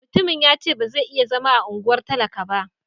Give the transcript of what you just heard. Mutumin ya ce ba zai iya zama a unguwar talaka ba.